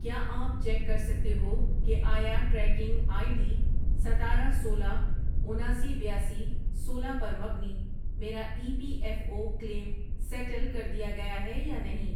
کیا آپ چیک کر سکتے ہو کہ آیا ٹریکنگ آئی ڈی ستارہ، سولہ، اناسی، بیاسی، سولہ، پر مبنی میرا E P F O claim settle کر دیا گیا ہے یا نہیں؟